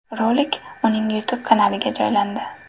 Rolik uning YouTube-kanaliga joylandi .